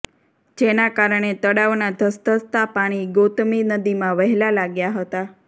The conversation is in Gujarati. જેના કારણે તળાવના ધસધસતા પાણી ગોતમી નદીમા વહેલા લાગ્યા હતા